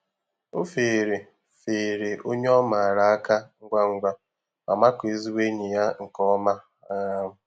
O feere feere onye ọ maara áká ngwa ngwa ma makụọ ezigbo enyi ya nke ọma. um